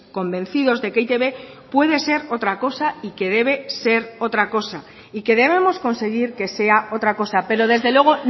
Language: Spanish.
convencidos de que e i te be puede ser otra cosa y que debe ser otra cosa y que debemos conseguir que sea otra cosa pero desde luego